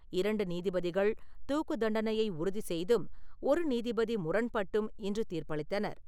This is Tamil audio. இரண்டு நீதிபதிகள் தூக்குத் தண்டனையை உறுதி செய்தும், ஒரு நீதிபதி முரண்பட்டும் இன்று தீர்ப்பளித்தனர்.